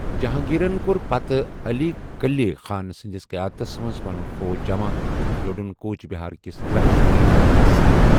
جہاں گیٖرن كو٘ر پتہٕ عٔلی کُلی خان سٕنٛدِس قیادتس منز پنُن فوج جمع تہٕ لوٚڑُن کوچ بِہار كِس لَکشمی ناراینَس سۭتۍ۔